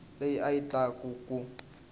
leyi a yi tala ku